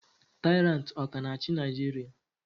Taịrantị ọ ka na-achị Naijiria?